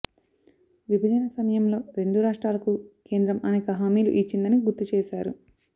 విభజన సమ యంలో రెండు రాష్ట్రాలకు కేంద్రం అనేక హామీలు ఇచ్చిందని గుర్తు చేశారు